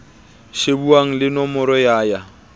shebuwang le nomoro ya ya